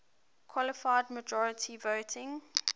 qualified majority voting